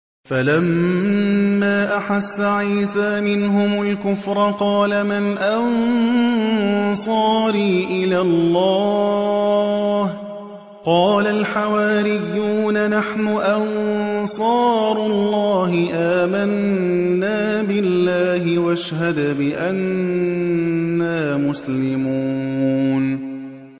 ۞ فَلَمَّا أَحَسَّ عِيسَىٰ مِنْهُمُ الْكُفْرَ قَالَ مَنْ أَنصَارِي إِلَى اللَّهِ ۖ قَالَ الْحَوَارِيُّونَ نَحْنُ أَنصَارُ اللَّهِ آمَنَّا بِاللَّهِ وَاشْهَدْ بِأَنَّا مُسْلِمُونَ